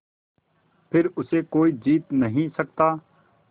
फिर उसे कोई जीत नहीं सकता